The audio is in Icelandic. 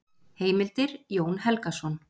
Heimildir: Jón Helgason.